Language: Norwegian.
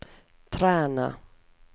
Træna